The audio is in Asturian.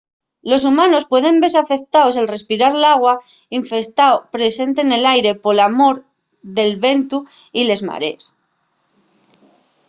los humanos pueden vese afectaos al respirar l'agua infestao presente nel aire pola mor del vientu y les marees